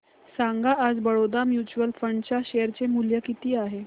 सांगा आज Baroda mutual fund च्या शेअर चे मूल्य किती आहे